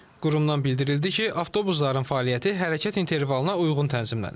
Qurumdan bildirildi ki, avtobusların fəaliyyəti hərəkət intervalına uyğun tənzimlənir.